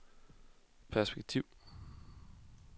perspektiv